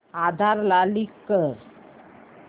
आधार ला लिंक कर